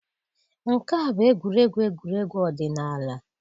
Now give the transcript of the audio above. Nke a bụ egwuregwu egwuregwu ọdịnala.